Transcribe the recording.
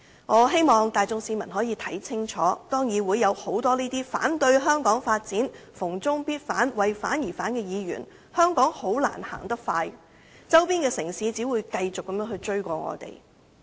我希望市民看清楚，當議會有很多反對香港發展、逢中必反、為反而反的議員，香港很難走得快，周邊的城市只會繼續追過我們。